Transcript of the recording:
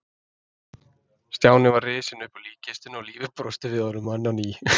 Stjáni var risinn upp úr líkkistunni og lífið brosti við honum enn á ný.